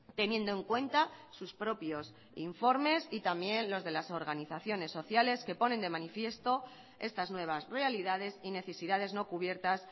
teniendo en cuenta sus propios informes y también los de las organizaciones sociales que ponen de manifiesto estas nuevas realidades y necesidades no cubiertas